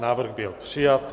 Návrh byl přijat.